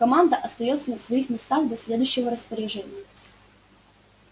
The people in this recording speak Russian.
команда остаётся на своих местах до следующего распоряжения